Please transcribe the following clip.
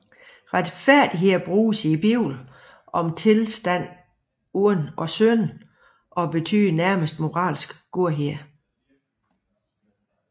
Retfærdighed bruges i Bibelen om tilstanden uden synd og betyder nærmest moralsk godhed